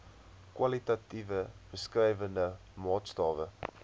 kwalitatiewe beskrywende maatstawwe